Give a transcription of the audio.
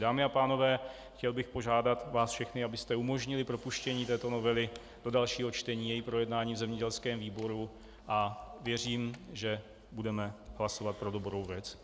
Dámy a pánové, chtěl bych požádat vás všechny, abyste umožnili propuštění této novely do dalšího čtení, její projednání v zemědělském výboru, a věřím, že budeme hlasovat pro dobrou věc.